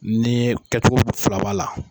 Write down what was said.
Ni ye kɛ cogo fila b'a la.